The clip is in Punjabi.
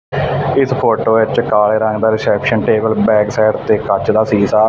ਇਸ ਫੋਟੋ ਵਿੱਚ ਕਾਲੇ ਰੰਗ ਦਾ ਰਿਸੈਪਸ਼ਨ ਟੇਬਲ ਬੈਕ ਸਾਈਡ ਤੇ ਕੱਚ ਦਾ ਸ਼ੀਸ਼ਾ--